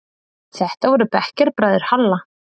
Þetta voru bekkjarbræður Halla.